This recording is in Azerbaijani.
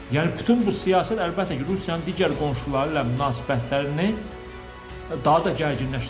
Yəni bütün bu siyasət əlbəttə ki, Rusiyanın digər qonşuları ilə münasibətlərini daha da gərginləşdirir.